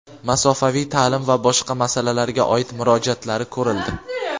masofaviy ta’lim va boshqa masalalarga oid murojaatlari ko‘rildi.